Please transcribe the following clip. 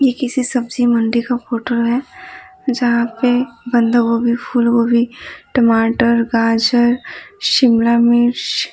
ये किसी सब्जी मंडी का फोटो है जहाँ पे बंधागोबी फूल गोबी टमाटर गाजर शिमला मिर्श --